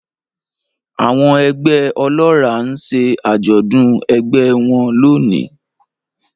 Àwọn ẹgbẹ́ ọlọ́ràá ń ṣe àjọ̀dún ẹgbẹ́ ẹ wọn lónìí